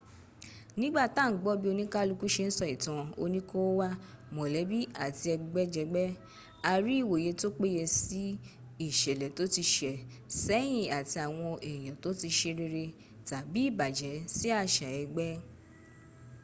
nígbà tá à ń gbọ́ bí oníkálukú se ń sọ ìtàn oníkóówá mọ̀lẹ́bí àti ẹgbẹ́jẹgbẹ́ a rí ìwòye tó péye sí ìṣẹ̀lẹ̀ tó ti sẹ̀ sẹ́yín àti àwọn èèyàn tó ti se rere tàbí ìbàjẹ́ sí àṣà ẹgbẹ́